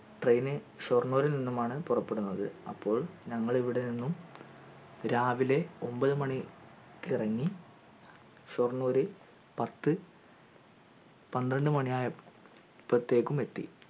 train ഷൊർണൂരിൽ നിന്നുമാണ് പുറപ്പെടുന്നത് അപ്പോൾ ഞങ്ങൾ ഇവിടെ നിന്നും രാവിലെ ഒമ്പത് മണിക്കിറങ്ങി ഷൊർണൂർ പത്ത് പത്രണ്ട് മണിയയപ്പത്തേക്കും എത്തി